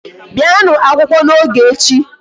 Bịanụ akwụkwọ n'oge echi.